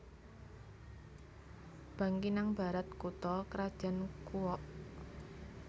Bangkinang Barat kutha krajan Kuok